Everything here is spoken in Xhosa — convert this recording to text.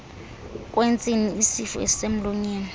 kwentsini isifo esisemlonyeni